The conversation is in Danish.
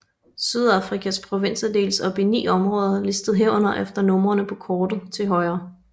Sydafrikas provinser deles op i 9 områder listet herunder efter numrene på kortet til højre